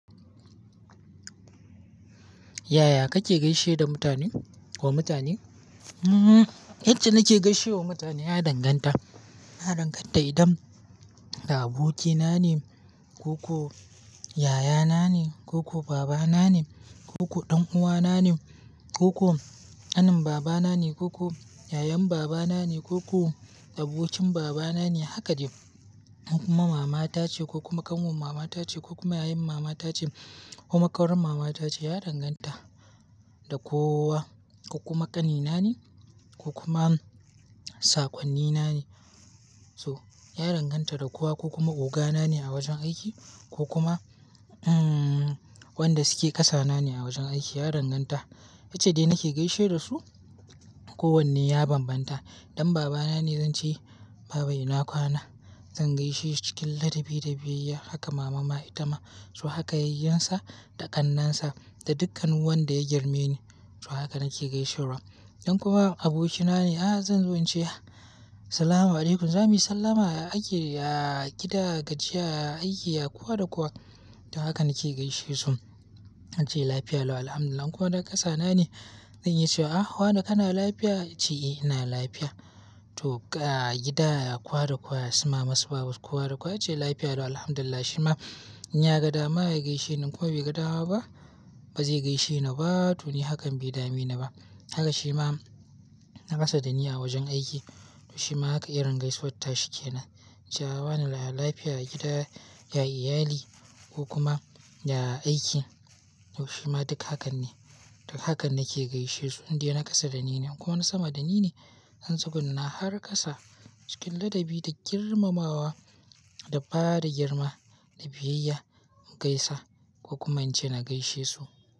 Yaya kake gaishe da mutane ko mutane? Yace nake gaishe wa mutane ya danganta. Ya danganta idan da abokina ne, ko ko yayana ne ko ko ko babana ne ko ko ko ɗan'uwana ne ko ko ƙanin babana ne ko ko yayan babana ne ko ko abokin babana ne haka dai. Ko kuma matace ko kuma ƙanwan matace ko kuma yayan matace ko kuma ƙawar matace ya danganta. Da kowa ko kuma ƙanina ne ko kuma sakwannina ne. So ya danganta da kowa ko kuma ogana ne a wajen aiki ko kuma wanda suke kasa nane a wajen aiki ya danganta. Yace dai nake gaishe da su. Kowanne ya bambanta. Idan babana ne zan ce, Baba ina kwana? Zan gaishe cikin ladabi da biyayya. Haka mama ma ita ma. So haka yayunsa da ƙannansa da dukkan wanda ya girme ni. To haka nake gaishewar. Idan kuwa abokina ne, ah zan zo in ce, Salamu alaykum, zamu yi sallama a aiki, a gida, gajiya, a aiki, ya kowa da kowa. To haka nake gaishe su. An ce lafiya lau, Alhamdulillah. In kuma na kasa na ne, zan yi ce, ah wane kana lafiya? Yace, eh ina lafiya. To ga gida ya kowa da kowa ya suma masu babu kowa da kowa yace lafiya lau, Alhamdulillah. Shi ma in ya ga dama ya gaishe in kuma bai ga dama ba, ba zai gaishe ni ba. To ni hakan bai dami ni ba. Haka shi ma na kasa da ni a wajen aiki. To shi ma haka irin gaisuwar tashi kenan. Ce wa na lafiya a gida, ya iyali ko koma da aiki. To shi ma duk hakan ne. Duk hakan nake gaishe su. In dai na kasa da in kuma na sama da ni ne. Zan tsuguna har kasa cikin ladabi da girmamawa da fara da girma da biyayya mu gaisa. Ko kuma in ce na gaishe su.